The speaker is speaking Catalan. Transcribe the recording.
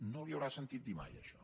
no li ho haurà sentit dir mai això